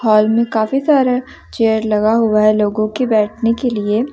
Hall में काफी सारा चेयर लगा हुआ है लोगो के बैठने के लिए।